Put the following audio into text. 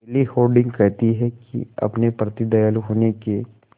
केली हॉर्डिंग कहती हैं कि अपने प्रति दयालु होने के